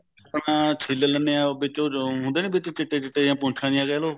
ਆ ਛਿਨ ਲੇਣੇ ਆ ਉਹ ਵਿੱਚ ਹੁੰਦੇ ਨੀ ਵਿੱਚ ਚਿੱਟੇ ਚਿੱਟੇ ਜੇ ਪੁੰਛਾ ਜੀ ਕਹਿਲੋ